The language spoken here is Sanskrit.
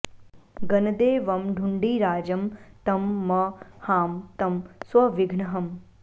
गणदे वं ढुण्ढिराजं तं म हां तं स्वविघ्नहम्